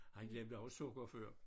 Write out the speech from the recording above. Har han glemt der var sukker før?